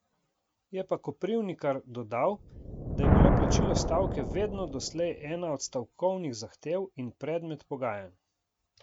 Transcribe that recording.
Je pa Koprivnikar dodal, da je bilo plačilo stavke vedno doslej ena od stavkovnih zahtev in predmet pogajanj.